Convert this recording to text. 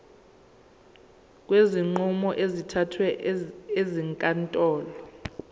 kwezinqumo ezithathwe ezinkantolo